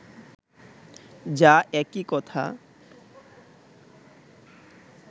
যা একই কথা